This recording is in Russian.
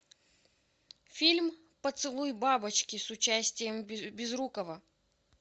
фильм поцелуй бабочки с участием безрукова